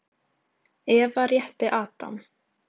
Eva rétti Adam.